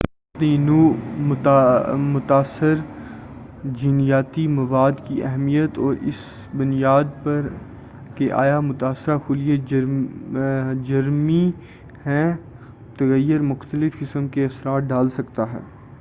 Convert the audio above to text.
اپنی نوع متاثر جینیاتی مواد کی اہمیت اور اس بنیاد پر کہ آیا متاثر خلیے جرمی ہیں تغیر مختلف قسم کے اثرات ڈال سکتا ہے